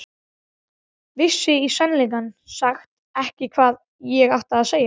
Vissi í sannleika sagt ekki hvað ég átti að segja.